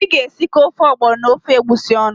Ị ga-esikọ ofe ọgbọnọ na ofe egwusi ọnụ?